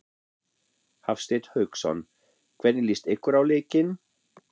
Hafsteinn Hauksson: Hvernig líst ykkur á leikinn?